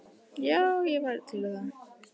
Já, ég væri til í það.